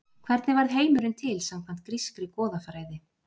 Hvernig varð heimurinn til samkvæmt grískri goðafræði?